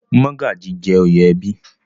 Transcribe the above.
Mọ́gàjí jẹ́ oyè ẹbí.